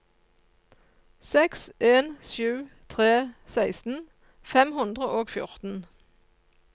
seks en sju tre seksten fem hundre og fjorten